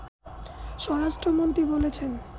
স্বরাষ্ট্র মন্ত্রী বলেছেন